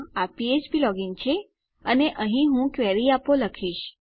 આ ફ્ફ્પ લોગીન છે અને અહીં હું ક્વેરી આપો લખીશ